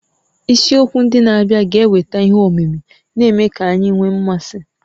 Isiakwụkwọ ndị na-abịa ga-eweta ihe omimi, na-eme ka anyị nwee mmasị